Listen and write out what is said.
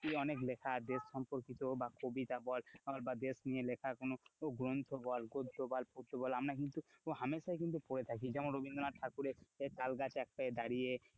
অনেক লেখা দেশ সম্পর্কিত বা কবিতা বল, বা দেশ নিয়ে লেখা কোনো গ্রন্থ বল, গদ্য বল পদ্দ বল, আমরা কিন্তু হামেশাই কিন্তু পড়ে থাকি যেমন রবীন্দ্রনাথ ঠাকুরের তালগাছ এক পায়ে দাঁড়িয়ে,